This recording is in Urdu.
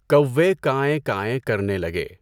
کوّے کائیں کائیں کرنے لگے۔